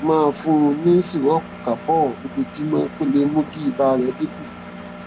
máa fún un ní sìrọọpù calpol lójoojúmọ kó lè mú kí ibà rẹ dín kù